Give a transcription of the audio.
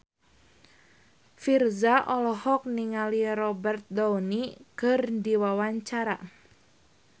Virzha olohok ningali Robert Downey keur diwawancara